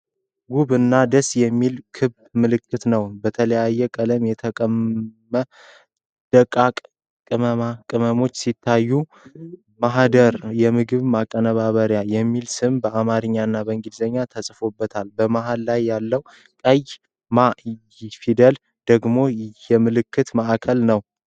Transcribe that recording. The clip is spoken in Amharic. ውብና ደስ የሚል ክብ ምልክት ነው! በተለያየ ቀለም የተቀመሙ ደቃቅ ቅመማ ቅመሞች ሲታዩ፣ “ማህደር የምግብ ማቀነባበሪያ” የሚል ስም በአማርኛና በእንግሊዝኛ ተጽፎበታል። መሀል ላይ ያለው ቀይ “ማ” ፊደል ደግሞ የምልክቱ ማዕከል ነው።